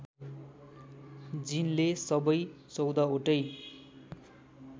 जिनले सबै १४ वटै